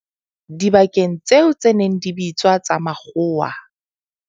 Dibakeng tseo tse neng di bitswa tsa makgowa.